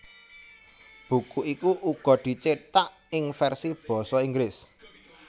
Buku iku uga dicithak ing versi basa Inggris